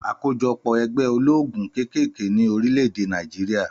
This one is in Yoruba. Àkójọpọ̀ ẹgbẹ́ olóògùn kékèké ní orílẹ̀-èdè Nàìjíríà